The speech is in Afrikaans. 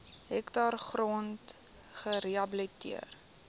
hektaar grond gerehabiliteer